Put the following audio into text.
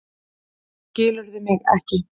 Skilurðu mig ekki?